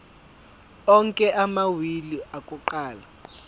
onke amawili akuqala